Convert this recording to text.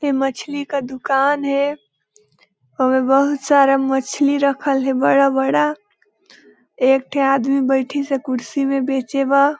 ए मछली का दुकान हे ओमे बहुत सारा मछली रखल हे बड़ा-बड़ा एक ठी आदमी बइठिस हे कुर्सी बेचे बर--